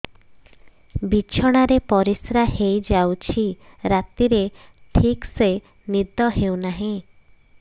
ବିଛଣା ରେ ପରିଶ୍ରା ହେଇ ଯାଉଛି ରାତିରେ ଠିକ ସେ ନିଦ ହେଉନାହିଁ